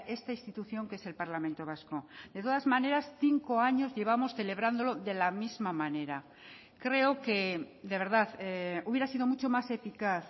esta institución que es el parlamento vasco de todas maneras cinco años llevamos celebrándolo de la misma manera creo que de verdad hubiera sido mucho más eficaz